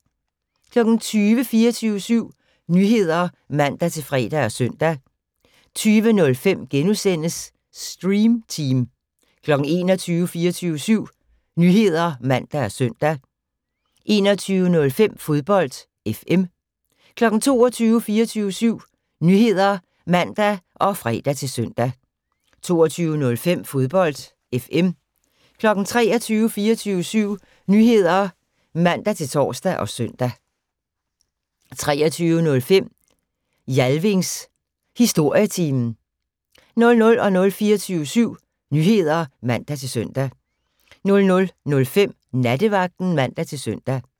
20:00: 24syv Nyheder (man-fre og søn) 20:05: Stream Team * 21:00: 24syv Nyheder (man og søn) 21:05: Fodbold FM 22:00: 24syv Nyheder (man og fre-søn) 22:05: Fodbold FM 23:00: 24syv Nyheder (man-tor og søn) 23:05: Jalvings Historietime 00:00: 24syv Nyheder (man-søn) 00:05: Nattevagten (man-søn)